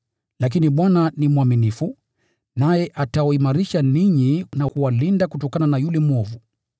Lakini Bwana ni mwaminifu, naye atawaimarisha ninyi na kuwalinda kutokana na yule mwovu.